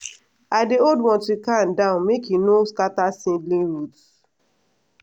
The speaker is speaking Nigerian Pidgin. i dey hold watering can down make e no scatter seedling root.